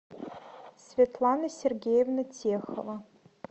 светлана сергеевна техова